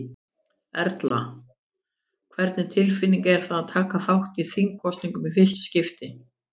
Erla: Hvernig tilfinning er það að taka þátt í þingkosningum í fyrsta skipti?